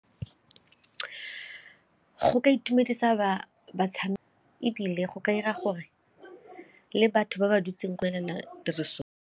Go ka itumedisa ebile go ka dira gore le batho ba ba dutse tiriso.